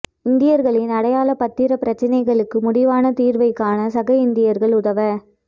இந்தியர்களின் அடையாள பத்திர பிரச்னைகளுக்கு முடிவான தீர்வைக் காண சக இந்தியர்கள் உதவ